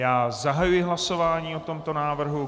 Já zahajuji hlasování o tomto návrhu.